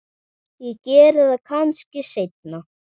Ég geri það kannski seinna.